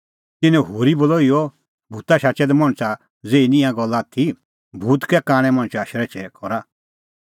तिन्नैं होरी बोलअ इहअ भूत शाचै दै मणछा ज़ेही निं ईंयां ई गल्ला आथी भूत कै कांणै मणछा शरैछै करा